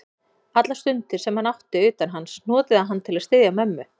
Allar stundir, sem hann átti utan hans, notaði hann til að styðja mömmu.